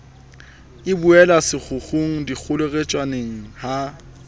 e buela sekgukgung dikgotjheletsaneng ha